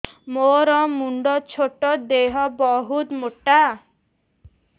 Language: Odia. ମୋର ମୁଣ୍ଡ ଛୋଟ ଦେହ ବହୁତ ମୋଟା